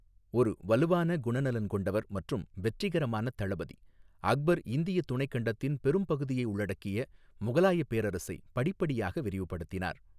ஒரு வலுவான குணநலன் கொண்டவர் மற்றும் வெற்றிகரமான தளபதி, அக்பர் இந்திய துணைக் கண்டத்தின் பெரும்பகுதியை உள்ளடக்கிய முகலாயப் பேரரசை படிப்படியாக விரிவுபடுத்தினார்.